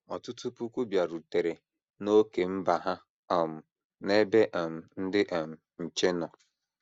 Ọtụtụ puku bịarutere n’ókè mba ha um n’ebe um ndị um nche nọ.